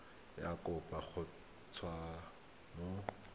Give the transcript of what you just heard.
ya kopo go tswa mo